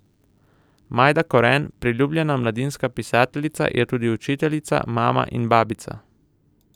Majda Koren, priljubljena mladinska pisateljica, je tudi učiteljica, mama in babica.